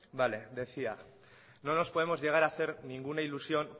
bai vale decía que no nos podemos llegar a hacer ninguna ilusión